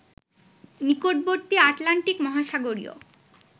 নিকটবর্তী আটলান্টিক মহাসাগরীয়